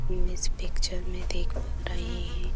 हम इस पिक्चर में देख पा रहे हैं।